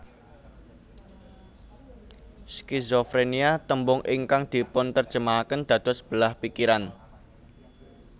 Skizofrénia tembung ingkang dipunterjemahaken dados belah pikiran